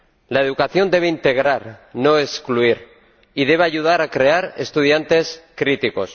La educación debe integrar —no excluir— y debe ayudar a crear estudiantes críticos.